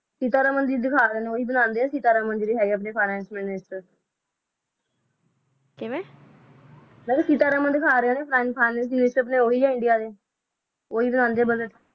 ਸਿਤ੍ਰ ਮੰਦੀ ਵੀ ਦਾਖਾ ਰਾ ਕੀ ਸਿਤ੍ਰ ਮੰਦੀ ਵੀ ਅੰਦਾ ਵਿਤਚ ਕਿਵਾ ਸਿਤ੍ਰ ਮੰਦੀ ਦਾਖਾ ਰਾਹ ਨਾ ਆਪਣਾ ਓਹੋ ਹੀ ਹ ਆਪਣਾ ਇੰਡੀਆ ਚ ਓਹੀ ਦਾਖੰਦਾ ਨਾ ਬੁਸ